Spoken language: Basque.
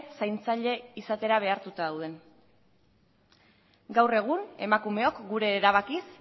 zaintzaile izatera behartuta dauden gaur egun emakumeok gure erabakiz